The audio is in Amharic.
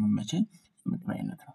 ሚመቼ የምግብ አይነት ነው